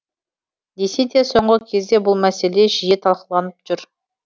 десе де соңғы кезде бұл мәселе жиі талқыланып жүр